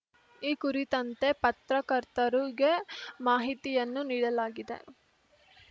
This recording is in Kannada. ಈ ಕುರಿತಂತೆ ಪತ್ರಕರ್ತರುಗೆ ಮಾಹಿತಿಯನ್ನೂ ನೀಡಲಾಗಿದೆ